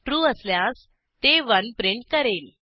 true असल्यास ते 1 print करेल